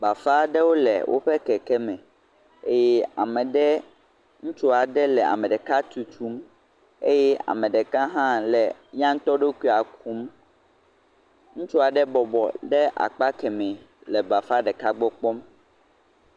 Bafa aɖewo le woƒe kekeme eye ame ɖe, ŋutsu ɖeka le ame ɖeka tutum eye ame ɖeka hã le ya ŋutɔ ɖokuia kum. Ŋutsu aɖe bɔbɔ ɖe akpa kemɛ le bafa ɖeka gbɔ kpɔm.